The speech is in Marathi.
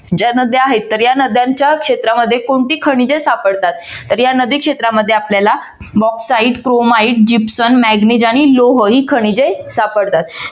ज्या नद्या आहेत तर या नद्यांच्या क्षेत्रामध्ये कोणती खनिजे सापडतात तर या नदी क्षेत्रामध्ये आपल्याला bauxite chromite gypsum manganese आणि लोह ही खनिजे सापडतात.